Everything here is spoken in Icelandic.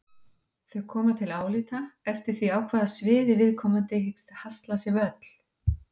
Þau koma til álita eftir því á hvað sviði viðkomandi hyggst hasla sér völl.